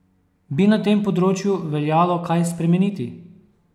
Bi na tem področju veljalo kaj spremeniti?